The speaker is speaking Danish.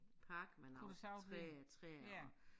Park med nogle træer træer og